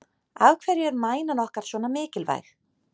Af hverju er mænan okkar svona mikilvæg?